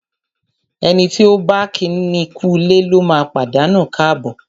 Ẹni tí ọ̀ bá kíni kúulé lóma pàdánù káàbọ̀.